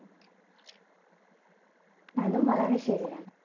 അതും വളരെ ശരിയാണ്